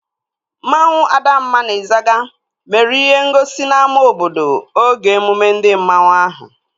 Mmanwu Adamma na Ịzaga mere ihe ngosi n'ámá obodo oge emume ndi mmanwu ahụ